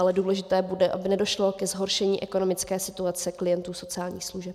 Ale důležité bude, aby nedošlo ke zhoršení ekonomické situace klientů sociálních služeb.